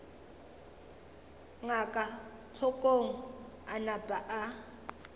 ngaka kgokong a napa a